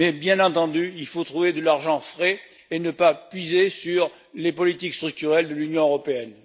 Bien entendu, il faut trouver de l'argent frais et ne pas puiser sur les politiques structurelles de l'Union européenne.